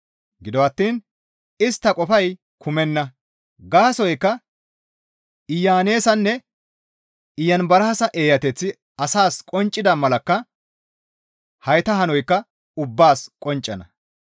Gido attiin istta qofay kumenna; gaasoykka Iyaneesanne Iyanbaraasa eeyateththi asaas qonccida malakka hayta hanoykka ubbaas qonccana.